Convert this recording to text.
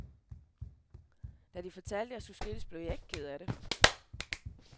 Da de fortalte, at de skulle skilles, blev jeg ikke ked af det.